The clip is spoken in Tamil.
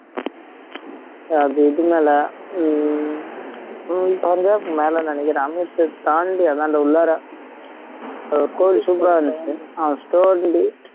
அது இது மேல ஹம் பஞ்சாப் மேல நினைக்கிற தாண்டி அந்தாண்ட உள்ளாரா அது ஒரு super ஆ இருந்துச்சு